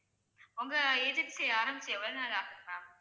உங்க agency ஆரம்பிச்சு எவ்வளவு நாள் ஆகுது ma'am